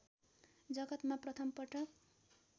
जगतमा प्रथम पटक